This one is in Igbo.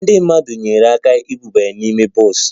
Ndị mmadụ nyeere aka iburu ya n'ime bọs